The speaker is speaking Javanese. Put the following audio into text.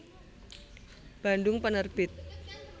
Bandung Penerbit